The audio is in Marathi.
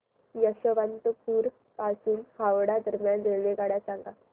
यशवंतपुर पासून हावडा दरम्यान रेल्वेगाड्या सांगा